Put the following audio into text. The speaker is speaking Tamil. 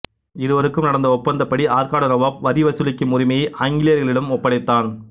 இருவருக்கும் நடந்த ஒப்பந்தப்படி ஆற்காடு நவாபு வரிவசூலிக்கும் உரிமையை ஆங்கிலேயர்களிடம் ஒப்படைத்தான்